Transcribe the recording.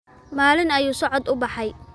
Maalin ayuu socod u baxay.